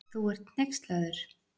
Þú ert hneykslaður.